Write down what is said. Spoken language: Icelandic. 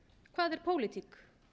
hvað er pólitík